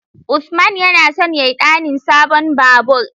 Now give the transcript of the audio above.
Usman yana son ya ɗanin sabon babur